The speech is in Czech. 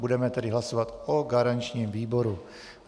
Budeme tedy hlasovat o garančním výboru.